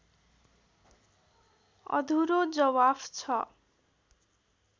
अधुरो जवाफ छ